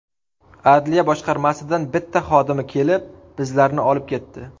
Adliya boshqarmasidan bitta xodimi kelib bizlarni olib ketdi.